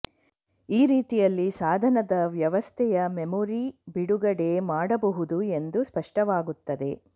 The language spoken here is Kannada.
ಈ ರೀತಿಯಲ್ಲಿ ಸಾಧನದ ವ್ಯವಸ್ಥೆಯ ಮೆಮೊರಿ ಬಿಡುಗಡೆ ಮಾಡಬಹುದು ಎಂದು ಸ್ಪಷ್ಟವಾಗುತ್ತದೆ